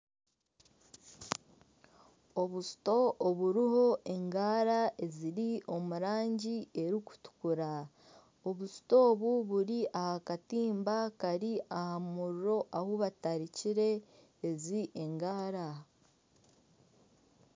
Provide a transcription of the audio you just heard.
Obusito oburiho engaara eziri omu rangi erikutukura obusito obu buri aha katimba kari aha muriro ahu batarikiire ezi engaara.